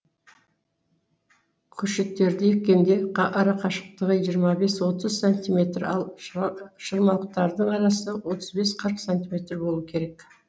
көшеттерді еккенде арақашықтығы жиырма бес отыз сантиметр ал шырмауықтардың арасы отыз бес қырық сантиметр болу керек